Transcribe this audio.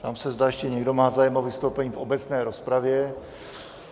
Ptám se, zda ještě někdo má zájem o vystoupení v obecné rozpravě.